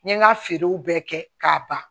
N ye n ka feerew bɛɛ kɛ k'a ban